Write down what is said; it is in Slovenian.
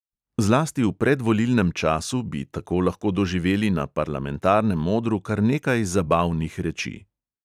Zlasti v predvolilnem času bi tako lahko doživeli na parlamentarnem odru kar nekaj zabavnih reči.